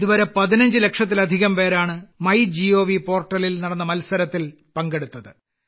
ഇതുവരെ 15 ലക്ഷത്തിലധികം പേരാണ് മൈഗോവ് പോർട്ടലിൽ നടന്ന മത്സരത്തിൽ പങ്കെടുത്തത്